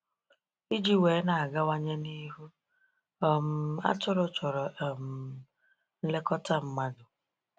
Iji wee na-agawanye n'ihu, um atụrụ chọrọ um nlekọta mmadụ.